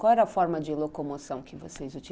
Qual era a forma de locomoção que vocês utilizavam?